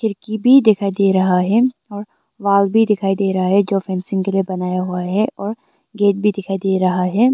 एक की भी दिखाई दे रहा है और वाल भी दिखाई दे रहा है जो फेंसिंग के लिए बनाया हुआ है और गेट भी दिखाई दे रहा है।